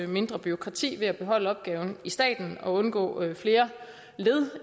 mindre bureaukrati ved at beholde opgaven i staten og undgå flere